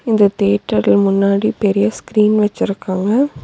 இந்த தேட்டர்ல முன்னாடி பெரிய ஸ்கிரீன் வச்சுருக்காங்க.